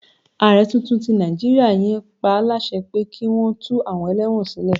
Ààrẹ tuntun tí Nàìjíríà yan pá láṣẹ pé kí wọn tú àwọn ẹlẹ́wọ̀n sílẹ̀.